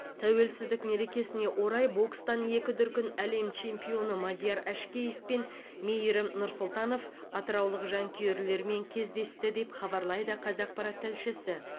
тәуелсіздік мерекесіне орай бокстан екі дүркін әлем чемпионы мадияр әшкеев пен мейірім нұрсұлтанов атыраулық жанкүйерлерімен кездесті деп хабарлайды қазақпарат тілшісі